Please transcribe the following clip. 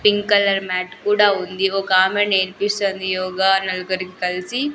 Pink colour mat కూడా ఉంది ఒక ఆమె నేర్పిస్తుంది యోగ నలుగురికి కలిసి.